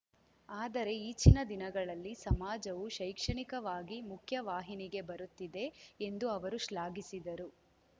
ಆದರೆ ಈಚಿನ ದಿನಗಳಲ್ಲಿ ಸಮಾಜವು ಶೈಕ್ಷಣಿಕವಾಗಿ ಮುಖ್ಯವಾಹಿನಿಗೆ ಬರುತ್ತಿದೆ ಎಂದು ಅವರು ಶ್ಲಾಘಿಸಿದರು